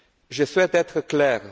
Je souhaite être clair.